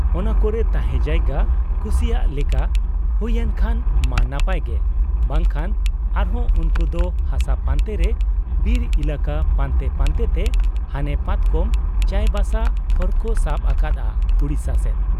ᱚᱱᱟ ᱠᱚᱨᱮ ᱛᱟᱦᱮᱸ ᱡᱟᱭᱜᱟ ᱠᱩᱥᱤᱭᱟᱜ ᱟᱜ ᱞᱮᱠᱟ ᱦᱩᱭᱩᱮᱱ ᱠᱷᱟᱱ ᱢᱟ ᱱᱟᱯᱟᱭ ᱜᱮ, ᱵᱟᱝ ᱠᱷᱟᱱ ᱟᱨ ᱦᱚᱸ ᱩᱱᱠᱩ ᱫᱚ ᱦᱟᱥᱟ ᱯᱟᱱᱛᱮ ᱨᱮ ᱵᱤᱨ ᱮᱞᱟᱠᱟ ᱯᱟᱱᱛᱮ ᱯᱟᱱᱛᱮ ᱛᱮ ᱦᱟᱱᱮ ᱯᱟᱛᱠᱚᱢ , ᱪᱟᱸᱭ ᱵᱟᱥᱟ ᱦᱚᱨᱠᱚ ᱥᱟᱵ ᱟᱠᱟᱫ ᱟ ᱩᱰᱤᱥᱟ ᱥᱮᱫ ᱾